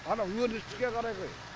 анау өндіріске қарай ғой